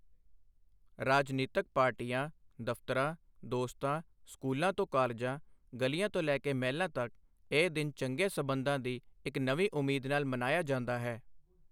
ਰਾਜਨੀਤਕ ਪਾਰਟੀਆਂ, ਦਫ਼ਤਰਾਂ, ਦੋਸਤਾਂ, ਸਕੂਲਾਂ ਤੋਂ ਕਾਲਜਾਂ, ਗਲੀਆਂ ਤੋਂ ਲੈ ਕੇ ਮਹਿਲਾਂ ਤੱਕ ਇਹ ਦਿਨ ਚੰਗੇ ਸਬੰਧਾਂ ਦੀ ਇੱਕ ਨਵੀਂ ਉਮੀਦ ਨਾਲ ਮਨਾਇਆ ਜਾਂਦਾ ਹੈ।